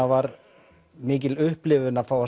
var mikil upplifun að